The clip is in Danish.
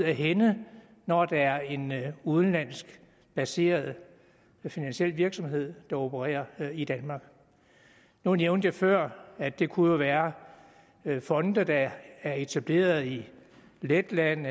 af hænde når det er en udenlandsk baseret finansiel virksomhed der opererer i danmark nu nævnte jeg før at det jo kunne være fonde der er etableret i letland